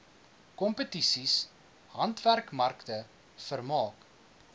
kompetisies handwerkmarkte vermaak